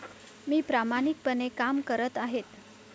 मी प्रामाणिकपणे काम करत आहेत.